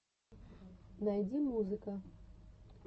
найди музыка